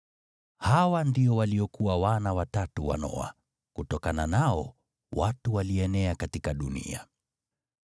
Hawa ndio waliokuwa wana watatu wa Noa, kutokana nao watu walienea katika dunia.